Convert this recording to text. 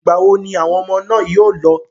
Ìgbà wo ni àwọn ọmọ náà yóò lọ?